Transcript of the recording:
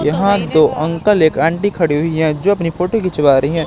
यहां दो अंकल एक आंटी खड़ी हुई हैं जो अपनी फोटो खिंचवा रही है।